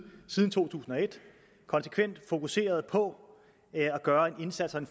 siden to tusind og et konsekvent fokuseret på at gøre en indsats og en